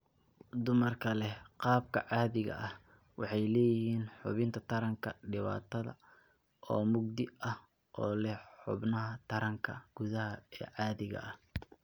Dumarka leh qaabka caadiga ah waxay leeyihiin xubinta taranka dibadda oo mugdi ah oo leh xubnaha taranka gudaha ee caadiga ah.